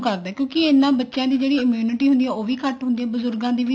ਕਰਦਾ ਕਿਉਂਕਿ ਇਹਨਾ ਬੱਚਿਆਂ ਦੀ ਜਿਹੜੀ immunity ਹੁੰਦੀ ਆ ਉਹ ਵੀ ਘੱਟ ਹੁੰਦੀ ਆ ਬਜੁਰਗਾਂ ਦੀ ਵੀ